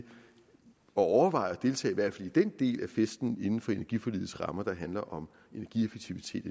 overveje at deltage i hvert fald i den del af festen inden for energiforligets rammer der handler om energieffektivitet